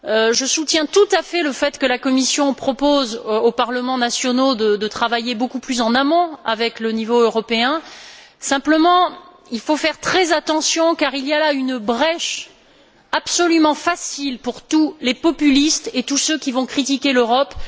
je soutiens tout à fait le fait que la Commission propose aux parlements nationaux de travailler beaucoup plus en amont avec le niveau européen. Simplement, il faut faire très attention, car c'est offrir une large brèche à tous les populistes et tous ceux qui vont critiquer l'Europe.